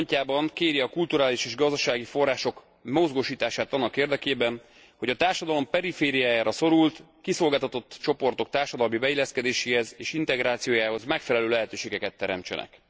4. pontjában kéri a kulturális és gazdasági források mozgósítását annak érdekében, hogy a társadalom perifériájára szorult, kiszolgáltatott csoportok társadalmi beilleszkedéséhez és integrációjához megfelelő lehetőségeket teremtsenek.